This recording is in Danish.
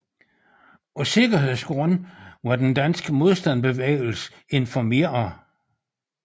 Af sikkerhedsgrunde var den danske modstandsbevægelse informeret